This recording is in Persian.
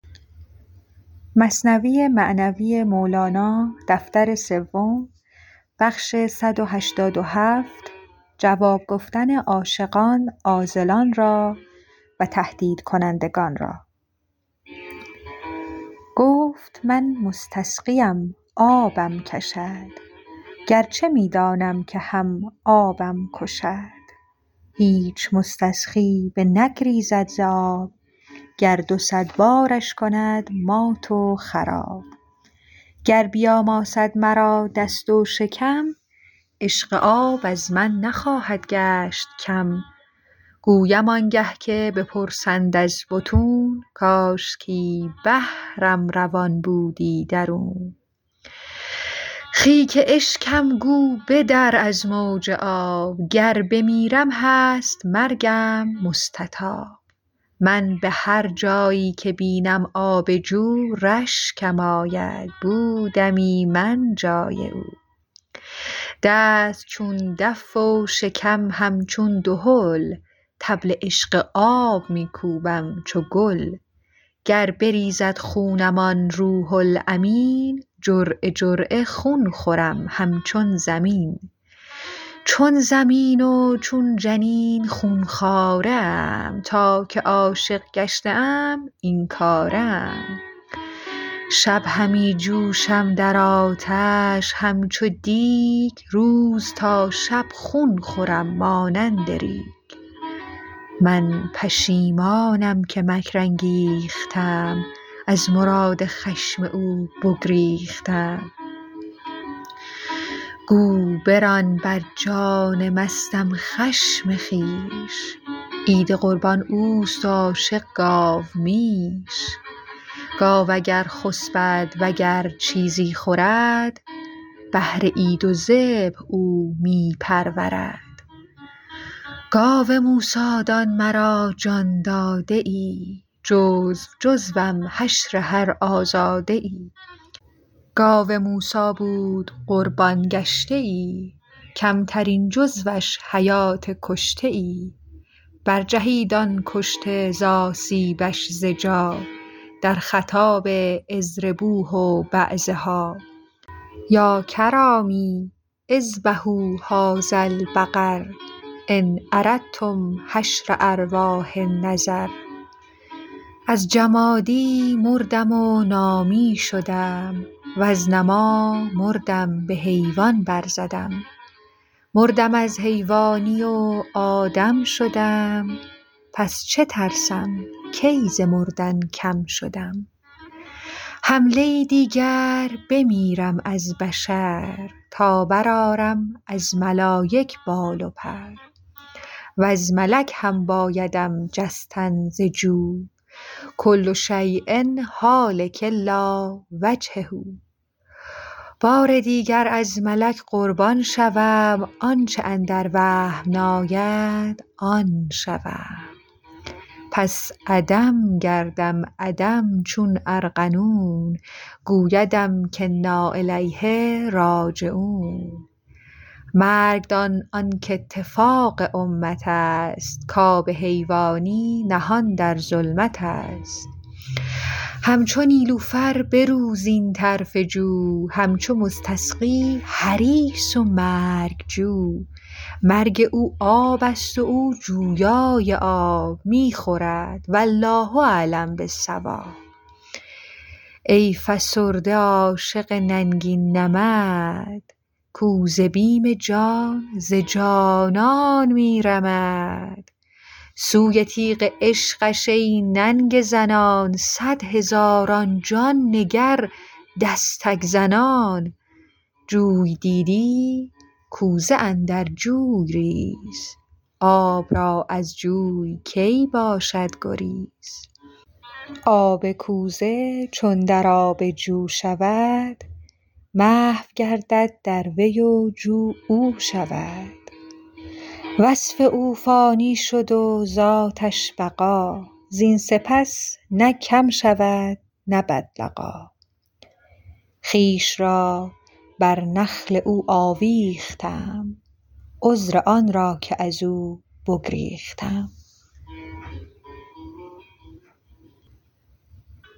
گفت من مستسقیم آبم کشد گرچه می دانم که هم آبم کشد هیچ مستسقی بنگریزد ز آب گر دو صد بارش کند مات و خراب گر بیاماسد مرا دست و شکم عشق آب از من نخواهد گشت کم گویم آنگه که بپرسند از بطون کاشکی بحرم روان بودی درون خیک اشکم گو بدر از موج آب گر بمیرم هست مرگم مستطاب من بهر جایی که بینم آب جو رشکم آید بودمی من جای او دست چون دف و شکم همچون دهل طبل عشق آب می کوبم چو گل گر بریزد خونم آن روح الامین جرعه جرعه خون خورم همچون زمین چون زمین و چون جنین خون خواره ام تا که عاشق گشته ام این کاره ام شب همی جوشم در آتش همچو دیگ روز تا شب خون خورم مانند ریگ من پشیمانم که مکر انگیختم از مراد خشم او بگریختم گو بران بر جان مستم خشم خویش عید قربان اوست و عاشق گاومیش گاو اگر خسپد وگر چیزی خورد بهر عید و ذبح او می پرورد گاو موسی دان مرا جان داده ای جزو جزوم حشر هر آزاده ای گاو موسی بود قربان گشته ای کمترین جزوش حیات کشته ای برجهید آن کشته ز آسیبش ز جا در خطاب اضربوه بعضها یا کرامی اذبحوا هذا البقر ان اردتم حشر ارواح النظر از جمادی مردم و نامی شدم وز نما مردم به حیوان برزدم مردم از حیوانی و آدم شدم پس چه ترسم کی ز مردن کم شدم حمله دیگر بمیرم از بشر تا بر آرم از ملایک پر و سر وز ملک هم بایدم جستن ز جو کل شیء هالک الا وجهه بار دیگر از ملک قربان شوم آنچ اندر وهم ناید آن شوم پس عدم گردم عدم چون ارغنون گویدم که انا الیه راجعون مرگ دان آنک اتفاق امتست کاب حیوانی نهان در ظلمتست همچو نیلوفر برو زین طرف جو همچو مستسقی حریص و مرگ جو مرگ او آبست و او جویای آب می خورد والله اعلم بالصواب ای فسرده عاشق ننگین نمد کو ز بیم جان ز جانان می رمد سوی تیغ عشقش ای ننگ زنان صد هزاران جان نگر دستک زنان جوی دیدی کوزه اندر جوی ریز آب را از جوی کی باشد گریز آب کوزه چون در آب جو شود محو گردد در وی و جو او شود وصف او فانی شد و ذاتش بقا زین سپس نه کم شود نه بدلقا خویش را بر نخل او آویختم عذر آن را که ازو بگریختم